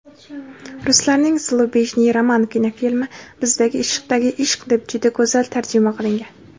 Ruslarning "Slujebniy roman" kinofilmi bizda "Ishdagi ishq" deb juda go‘zal tarjima qilingan.